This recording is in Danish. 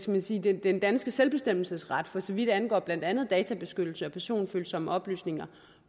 man sige den den danske selvbestemmelsesret for så vidt angår blandt andet databeskyttelse og personfølsomme oplysninger